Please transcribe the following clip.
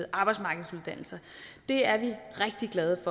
arbejdsmarkedsuddannelser det er vi rigtig glade